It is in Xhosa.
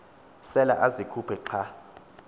sela azikhuphe xa